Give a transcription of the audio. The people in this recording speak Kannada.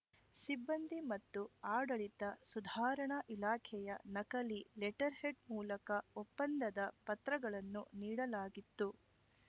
ಸಿಬ್ಬಂದಿ ಮತ್ತು ಆಡಳಿತ ಸುಧಾರಣಾ ಇಲಾಖೆಯ ನಕಲಿ ಲೆಟರ್‌ಹೆಡ್‌ ಮೂಲಕ ಒಪ್ಪಂದದ ಪತ್ರಗಳನ್ನುನೀಡಲಾಗಿತ್ತು